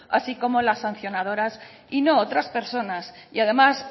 así como las sancionadoras y no otras personas y además